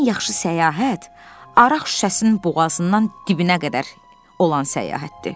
Ən yaxşı səyahət araq şüşəsinin boğazından dibinə qədər olan səyahətdir.